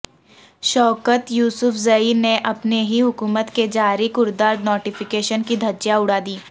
شوکت یوسفزئی نے اپنی ہی حکومت کے جاری کردہ نوٹیفکیشن کی دھجیاں اڑادیں